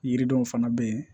Yiridenw fana bɛ yen